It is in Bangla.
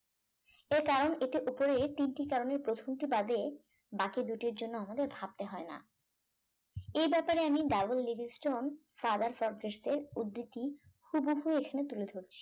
এর কারণ এটির ওপরে তিনটি করণের প্রথমটি বাদে বাকি দুটির জন্য আমাদের ভাবতে হয় না এই ব্যাপারে আমি ডাবল লেলিস্ট্রন ফাদার ফরজেস্টের উদ্ধৃতি হুবহু এখানে তুলে ধরছি